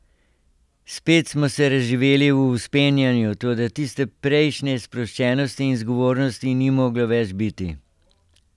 Spet smo se razživeli v vzpenjanju, toda tiste prejšnje sproščenosti in zgovornosti ni moglo več biti.